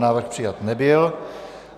Návrh přijat nebyl.